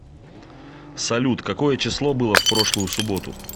салют какое число было в прошлую суботу